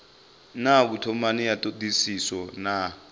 na vhutumani ya thodisiso na